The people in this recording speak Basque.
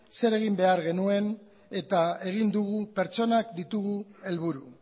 zer egin behar genuen eta egin dugu pertsonak ditugu helburu